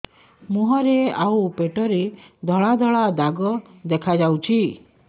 ମୁହଁରେ ଆଉ ପେଟରେ ଧଳା ଧଳା ଦାଗ ଦେଖାଯାଉଛି